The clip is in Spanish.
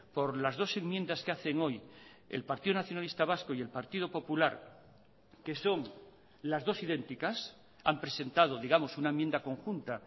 por las dos enmiendas que hacen hoy el partido nacionalista vasco y el partido popular que son las dos idénticas han presentado digamos una enmienda conjunta